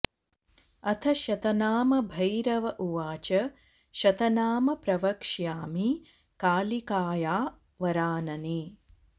अथ शतनाम भैरव उवाच शतनाम प्रवक्ष्यामि कालिकाया वरानने